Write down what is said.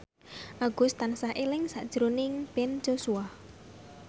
Agus tansah eling sakjroning Ben Joshua